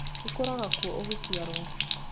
Ìkorago kuo ũgĩciarwo.